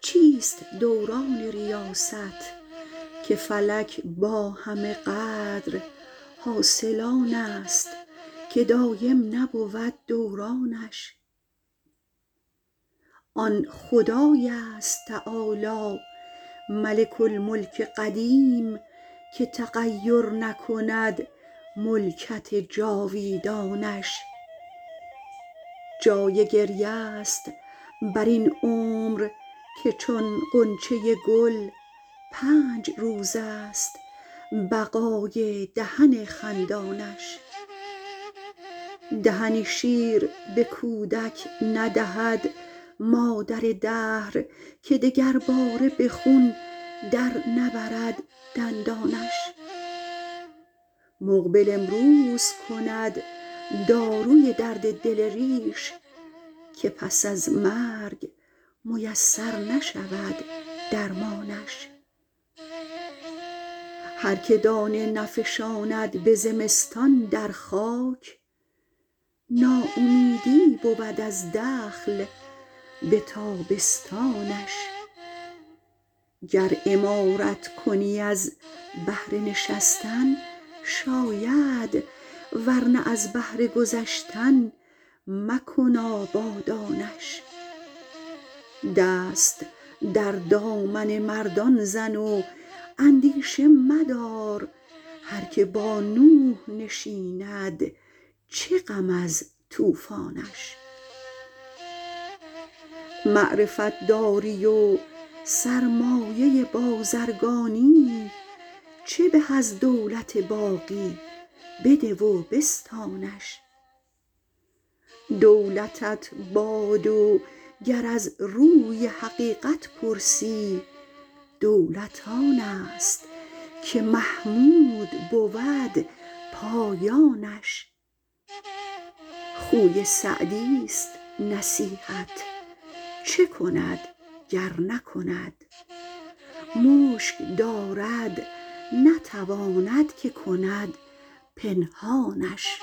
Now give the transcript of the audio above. چیست دوران ریاست که فلک با همه قدر حاصل آن است که دایم نبود دورانش آن خدای است تعالی ملک الملک قدیم که تغیر نکند ملکت جاویدانش جای گریه ست بر این عمر که چون غنچه گل پنج روز است بقای دهن خندانش دهنی شیر به کودک ندهد مادر دهر که دگرباره به خون در نبرد دندانش مقبل امروز کند داروی درد دل ریش که پس از مرگ میسر نشود درمانش هر که دانه نفشاند به زمستان در خاک ناامیدی بود از دخل به تابستانش گر عمارت کنی از بهر نشستن شاید ور نه از بهر گذشتن مکن آبادانش دست در دامن مردان زن و اندیشه مدار هر که با نوح نشیند چه غم از طوفانش معرفت داری و سرمایه بازرگانی چه به از دولت باقی بده و بستانش دولتت باد و گر از روی حقیقت پرسی دولت آن است که محمود بود پایانش خوی سعدیست نصیحت چه کند گر نکند مشک دارد نتواند که کند پنهانش